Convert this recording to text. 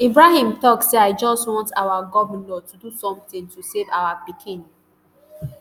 ibrahim tok say i just want our govnor to do somtin to save our pikin